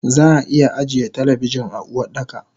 Zaa iya ajiye talabijin a Uwardaka